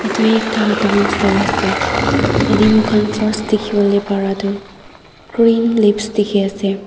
tuita down floor ase yete moi kan first tiki bolae bara tho green leaves tiki ase.